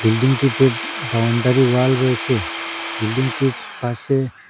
বিল্ডিংটিতে boundary wall রয়েচে বিল্ডিংটির পাশে--